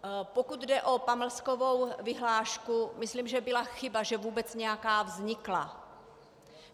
Pokud jde o pamlskovou vyhlášku, myslím, že byla chyba, že vůbec nějaká vznikla.